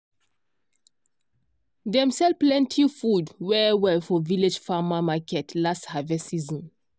dem sell plenty food well well for village farmer market last harvest season.